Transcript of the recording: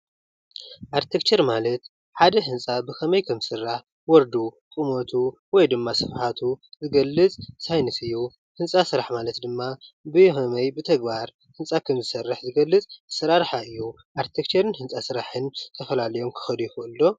ኣርቴክቸር ማለት ሓደ ህንፃ ብከመይ ከም ዝስራሕ ዎርዱ ቁመቱ ወይ ደማ ስፍሓቱ ዝገልፅ ሳይነስ እዩ ።ህንፃ ስራሕ ማለት ድማ ብከመይ ብተግባር ህንፃ ከም ዝስርሕ ዝገልፅ ኣሰራርሓ እዩ። ኣረቴክቸርን ህንፃ ስራሕን ተፈላልዮም ክኸዱ ይኽእሉ ዶ?